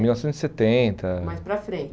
Mil novecentos e setenta. Mais para